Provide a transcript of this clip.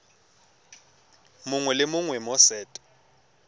mongwe le mongwe mo set